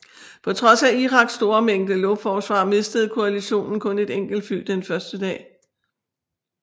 På trods af Iraks store mængde luftforsvar mistede koalitionen kun et enkelt fly den første dag